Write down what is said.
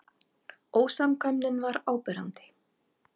Ósamkvæmnin var áberandi.